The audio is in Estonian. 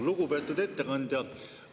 Lugupeetud ettekandja!